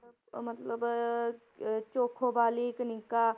ਅਹ ਮਤਲਬ ਅਹ ਚੋਖੋਵਾਲੀ, ਕਨਿਕਾ,